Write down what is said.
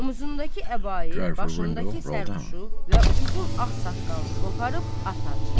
Omuzundakı əbayi, başındakı sərpuşu və uzun ağ saqqalını qoparıb atar.